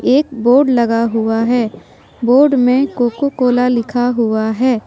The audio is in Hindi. एक बोर्ड लगा हुआ है बोर्ड में कोको कोला लिखा हुआ है।